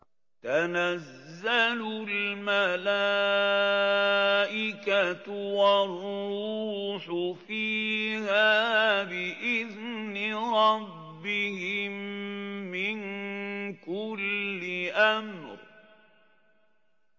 تَنَزَّلُ الْمَلَائِكَةُ وَالرُّوحُ فِيهَا بِإِذْنِ رَبِّهِم مِّن كُلِّ أَمْرٍ